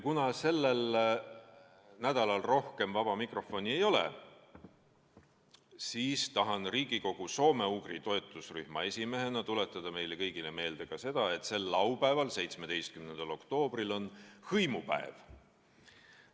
Kuna sellel nädalal rohkem vaba mikrofoni ei ole, siis tahan Riigikogu soome-ugri toetusrühma esimehena tuletada meile kõigile meelde ka seda, et sel laupäeval, 17. oktoobril on hõimupäev.